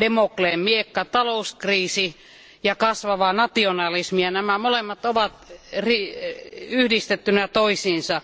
Demokleen miekka eli talouskriisi ja kasvava nationalismi ja nämä molemmat ovat yhdistettyinä toisiinsa.